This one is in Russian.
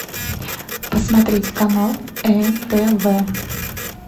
посмотреть канал нтв